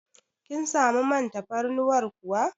Kin samu man tafarnuwar kuwa?